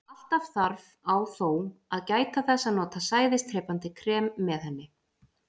Alltaf þarf á þó að gæta þess að nota sæðisdrepandi krem með henni.